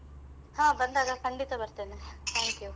ಹ ಬಂದಾಗ ಖಂಡಿತ ಬರ್ತೇನೆ thank you .